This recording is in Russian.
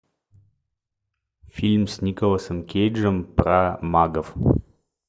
фильм с николасом кейджем про магов